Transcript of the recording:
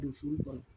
Don furu kɔnɔ